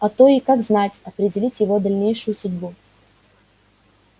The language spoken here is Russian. а то и как знать определить его дальнейшую судьбу